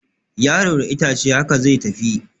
Yaro da itace, haka zai tafi